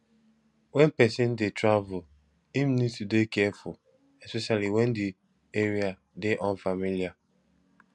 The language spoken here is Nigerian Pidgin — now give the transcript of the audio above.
when person dey travel im need to dey careful especially when di area dey unfamiliar